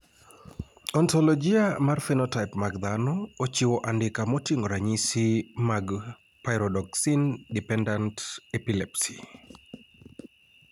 Ontologia mar phenotype mag dhano ochiwo andika moting`o ranyisi mag Pyridoxine dependent epilepsy.